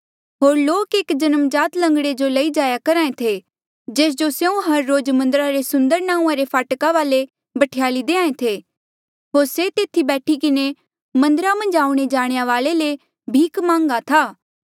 होर लोक एक जन्मजात लंगड़े जो लई जाया करहा ऐें थे जेस जो स्यों हर रोज मन्दरा रे सुन्दर नांऊँआं रे फाटका वाले बठ्याली देहां ऐें थे होर से तेथी बैठी किन्हें मन्दरा मन्झ आऊणें जाणेया वाले ले भीख मांगा था